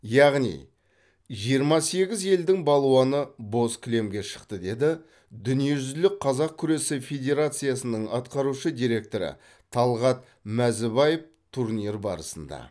яғни жиырма сегіз елдің балуаны боз кілемге шықты деді дүниежүзілік қазақ күресі федерациясының атқарушы директоры талғат мәзібаев турнир барысында